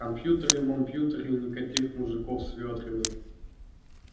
компьютеры-мампьютеры и никаких мужиков с вёдрами